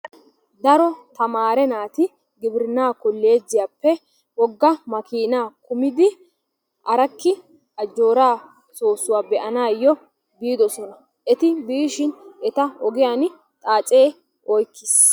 Daro tamaare naati gibirinnaa kolleejjiyappe wogga makiinaa kumidi arakki ajjooraa soossuwa be"anaayyo biidosona. Eti biishin eta ogiyan xaacee oykkiis.